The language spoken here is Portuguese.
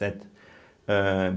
Certo? âh